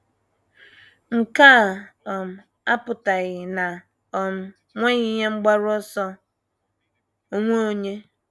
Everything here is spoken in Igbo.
Nke a um apụtaghị na o um nweghị ihe mgbaru ọsọ onwe onye.